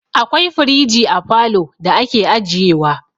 Akwai firiji a falo da ake ajiye wa.